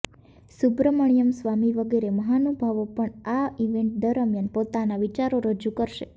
સુબ્રમણ્યમ સ્વામી વગેરે મહાનુભાવો પણ આ ઇવેન્ટ દરમિયાન પોતાના વિચારો રજૂ કરશે